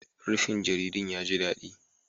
Rufin jaridun ya ji daɗi